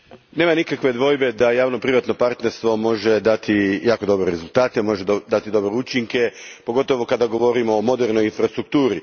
Gospođo predsjednice, nema nikakve dvojbe da javno privatno partnerstvo može dati jako dobre rezultate, može dati dobre učinke, pogotovo kada govorimo o modernoj infrastrukturi.